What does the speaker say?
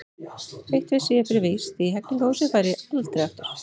Eitt vissi ég fyrir víst: í Hegningarhúsið færi ég aldrei aftur.